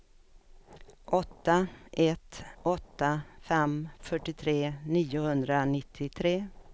åtta ett åtta fem fyrtiotre niohundranittiotre